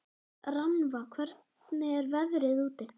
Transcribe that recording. Rannva, hvernig er veðrið úti?